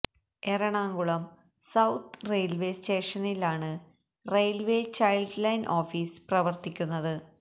Ernakulam south railway സ്റ്റേഷനിലാണ് railway child line office പ്രവർത്തിക്കുന്നത്